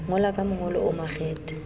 ngola ka mongolo o makgethe